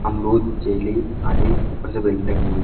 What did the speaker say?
अमरुद जेली आली उपर से बेल टंगी हुई--